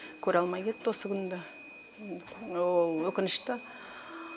көре алмай кетті осы күнді ол өкінішті